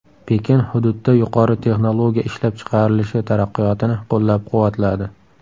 Pekin hududda yuqori texnologiya ishlab chiqarilishi taraqqiyotini qo‘llab-quvvatladi.